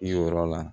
Yen yɔrɔ la